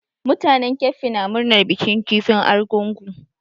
Mutanen keffi na murnar bikin kifin argungu.